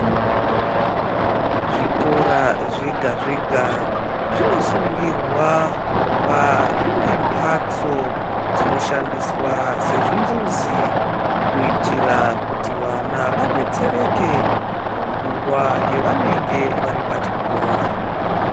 Zvikora zvega zvega zvinosungurwa kuva zvine mhatso dzinoshandiswa sezvimbudzi kuitira kuti vana vadetsereke munguwa yavanenge vari pachikora.